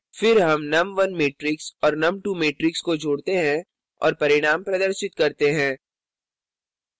फिर हम num1 matrix और num2 matrix को जोडते हैं और परिणाम प्रदर्शित करते हैं